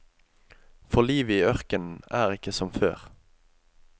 For livet i ørkenen er ikke som før.